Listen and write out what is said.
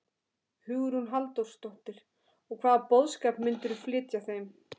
Hugrún Halldórsdóttir: Og hvaða boðskap myndirðu flytja þeim?